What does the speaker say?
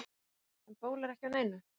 Haukur: En bólar ekki á neinu?